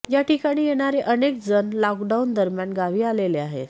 याठिकाणी येणारे अनेक जण लॉकडाऊन दरम्यान गावी आलेले आहेत